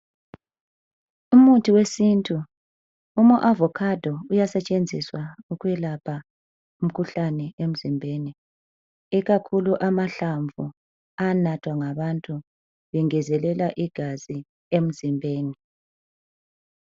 Umuthi wesintu, ama avokhado uyasetshenziswa ukwelapha umkhuhlane emzimbeni ikakhulu amahlamvu ayanathwa ngabantu bengezelela igazi emzimbeni.